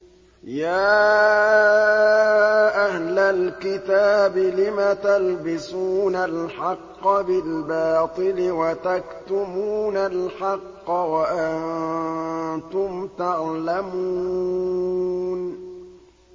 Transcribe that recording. يَا أَهْلَ الْكِتَابِ لِمَ تَلْبِسُونَ الْحَقَّ بِالْبَاطِلِ وَتَكْتُمُونَ الْحَقَّ وَأَنتُمْ تَعْلَمُونَ